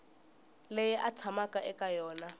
leyi a tshamaka eka yona